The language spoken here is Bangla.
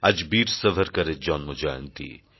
আজ বীর সাভারকরের জন্মজয়ন্তী